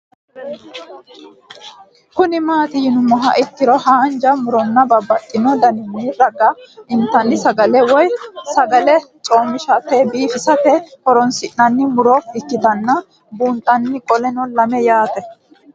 Kuni mati yinumoha ikiro hanja muroni babaxino daninina ragini intani sagale woyi sagali comishatenna bifisate horonsine'morich ikinota bunxana qoleno lame yaate